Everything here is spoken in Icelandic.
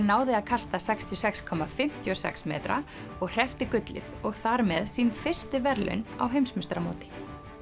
náði að kasta sextíu og sex komma fimmtíu og sex metra og hreppti gullið og þar með sín fyrstu verðlaun á heimsmeistaramóti